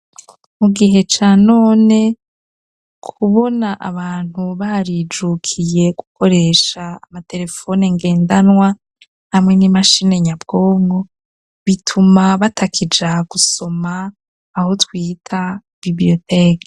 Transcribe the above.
Mu gihe ca none kubona abantu barijukiye gukoresha amaterefoni ngendanwa hamwe n'imashine nyabwongo bituma batakija gusoma aho twita bibiriyoteke.